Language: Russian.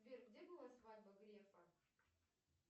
сбер где была свадьба грефа